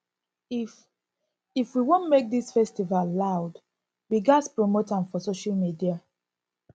if if we wan make dis festival loud we ghas promote am for social media